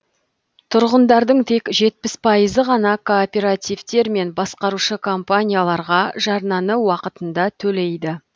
тұрғындардың тек жетпіс пайызы ғана кооперативтер мен басқарушы компанияларға жарнаны уақытында төлейді